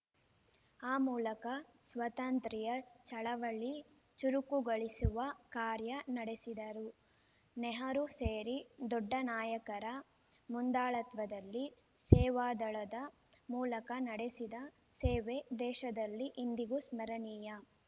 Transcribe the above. ಆ ಮೂಲಕ ಸ್ವಾತಂತ್ರ್ಯ ಚಳವಳಿ ಚುರುಕುಗೊಳಿಸುವ ಕಾರ್ಯ ನಡೆಸಿದರು ನೆಹರು ಸೇರಿ ದೊಡ್ಡ ನಾಯಕರ ಮುಂದಾಳತ್ವದಲ್ಲಿ ಸೇವಾದಳದ ಮೂಲಕ ನಡೆಸಿದ ಸೇವೆ ದೇಶದಲ್ಲಿ ಇಂದಿಗೂ ಸ್ಮರಣೀಯ